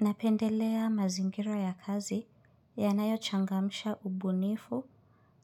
Napendelea mazingira ya kazi ya nayo changamsha ubunifu